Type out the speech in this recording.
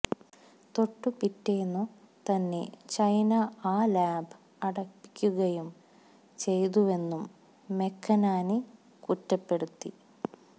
തൊട്ടുപിറ്റേന്നു തന്നെ ചൈന ആ ലാബ് അടപ്പിക്കുകയും ചെയ്തുവെന്നും മെക്കനാനി കുറ്റപ്പെടുത്തി